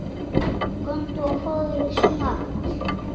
Komdu og fáðu þér snarl.